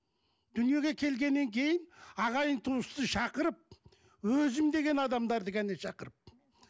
дүниеге келгеннен кейін ағайын туысты шақырып өзім деген адамдарды ғана шақырып